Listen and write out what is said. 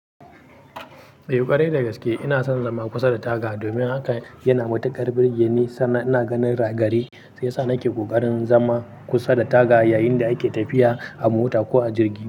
Eh ƙwarai da gaske ina son zama kusa da taga domin haka yana matuƙar birgeni suna ina ganin ragare sai sa nake kokarin zama kusa da taga yayin da ake tafiya a mota ko a jirgi.